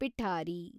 ಪಿಠಾರಿ